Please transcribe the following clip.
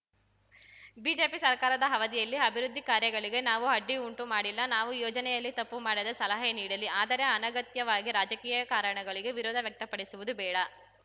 BJP ಸರ್ಕಾರದ ಅವಧಿಯಲ್ಲಿ ಅಭಿವೃದ್ಧಿ ಕಾರ್ಯಗಳಿಗೆ ನಾವು ಅಡ್ಡಿ ಉಂಟು ಮಾಡಿಲ್ಲ ನಾವು ಯೋಜನೆಯಲ್ಲಿ ತಪ್ಪು ಮಾಡಿದರೆ ಸಲಹೆ ನೀಡಲಿ ಆದರೆ ಅನಗತ್ಯವಾಗಿ ರಾಜಕೀಯ ಕಾರಣಗಳಿಗೆ ವಿರೋಧ ವ್ಯಕ್ತಪಡಿಸುವುದು ಬೇಡ